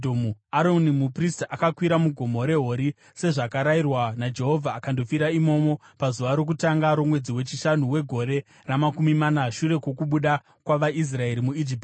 Aroni muprista akakwira muGomo reHori sezvakarayirwa naJehovha, akandofira imomo pazuva rokutanga romwedzi wechishanu wegore ramakumi mana shure kwokubuda kwavaIsraeri muIjipiti.